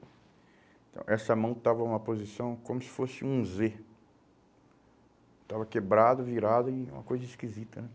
Então, essa mão estava em uma posição como se fosse um zê. Estava quebrado, virado, uma coisa esquisita, né?